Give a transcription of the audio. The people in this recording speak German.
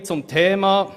So viel zum Thema.